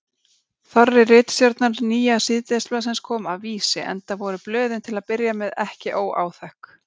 Þorri ritstjórnar nýja síðdegisblaðsins kom af Vísi, enda voru blöðin til að byrja með ekki óáþekk.